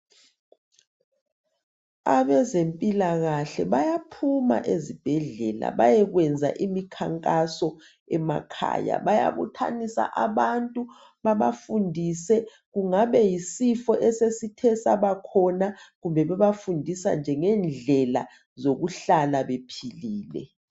Abezempilakahle bayaphuma ezibhedlela bayekwenza imikhankaso emakhaya, bayabuthanisa abantu babafundise kungaba yisifo esesithe sabakhona kumbe bebafundisa nje ngendlela zokuhlala bephilile.